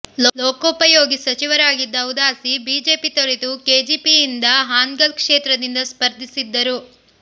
ಲೋಕೋಪಯೋಗಿ ಸಚಿವರಾಗಿದ್ದ ಉದಾಸಿ ಬಿಜೆಪಿ ತೊರೆದು ಕೆಜೆಪಿಯಿಂದ ಹಾನಗಲ್ ಕ್ಷೇತ್ರದಿಂದ ಸ್ಪರ್ಧಿಸಿದ್ದರು